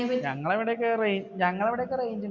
ഞങ്ങളവടക്കെ റെ ഞങ്ങടെ അവിടേക്കു range ഉണ്ട്,